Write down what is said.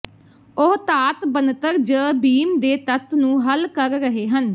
ਉਹ ਧਾਤ ਬਣਤਰ ਜ ਬੀਮ ਦੇ ਤੱਤ ਨੂੰ ਹੱਲ ਕਰ ਰਹੇ ਹਨ